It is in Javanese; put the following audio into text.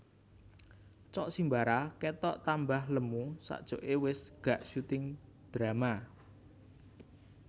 Cok Simbara ketok tambah lemu sakjoke wes gak syuting drama